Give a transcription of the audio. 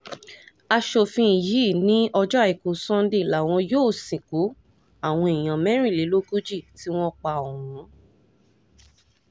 aṣòfin yìí ní ọjọ́ àìkú sannde làwọn yóò sìnkú àwọn èèyàn mẹ́rìnlélógójì tí wọ́n pa ọ̀hún